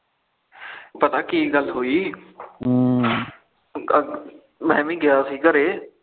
ਪਤਾ ਕੀ ਗੱਲ ਹੋਈ ਮੈ ਵੀ ਗਿਆ ਸੀ ਘਰੇ